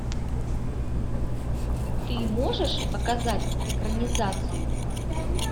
ты можешь показать экранизацию